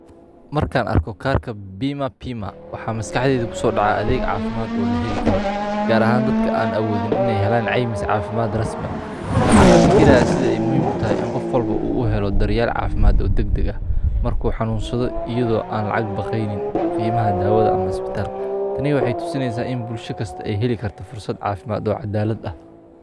Markan Aarko karka Bima Pima waxa maskaxdeyda kusodhacaa adeeg caafimad oo laheli Karo gar ahaan dadka an awoodin iney Helen caymis caafimad Rasmii ah waxan kafikiraa sidey muhiim utahay daryeel caafimad oo degdeg ah marku xanunsado iyado an lacag baqeyniin kheymaha dawada ama cisbitalka Taney waxey tusineysa inn bulsho kasto ey heeli karto fursad caafimad oo cadaalad ah .